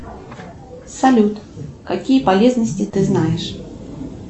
салют какие полезности ты знаешь